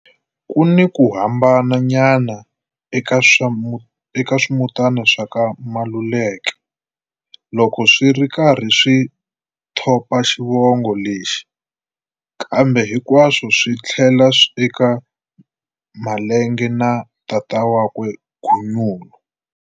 Kuni ku hambananyana eka swimutana swa ka Maluleke loko swiri karhi swi thopa xivongo lexi, kambe hinkwaswo swi tlhelela eka Malenga na tatana wakwe Gunyule.